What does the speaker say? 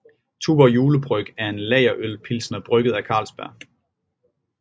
Tuborg Julebryg er en lagerøl pilsner brygget af Carlsberg